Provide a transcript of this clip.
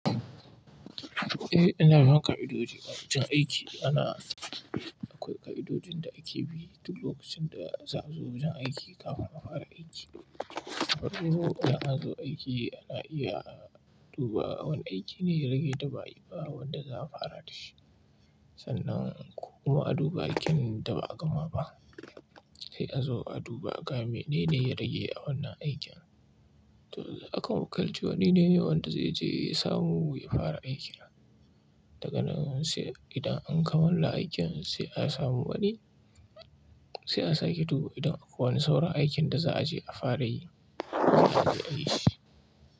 Eh, ana yanka ka'idoji a wajen aiki. Ana akwai ka'idojin da ake bi duk lokacin da za zo wajen aiki kafin a fara aiki. An zo aiki ana iya duba wane aiki ne ya rage da ba yi ba wanda za a fara da shi. Sannan kuma a duba aikin da ba a gama ba. Sai a zo a duba ga mene ne ya rage a wannan aikin. To, akan wukalci wani ne wanda zai je ya samu wuri ya fara aiki. Daga nan sai idan an kammala aikin sai a samu wani, sai a sake duba idan akwai wani sauran aikin da za a je a fara yi, sai a yi shi.